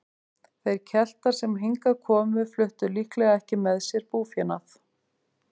Þeir Keltar sem hingað komu fluttu líklega ekki með sér búfénað.